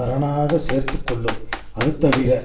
அரணாக சேர்த்து கொள்ளும் அது தவிர